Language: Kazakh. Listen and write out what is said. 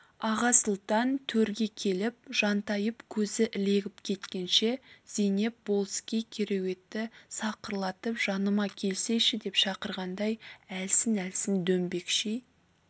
аға сұлтан төрге келіп жантайып көзі ілегіп кеткенше зейнеп болыскей кереуетті сақырлатып жаныма келсейші деп шақырғандай әлсін-әлсін дөңбекши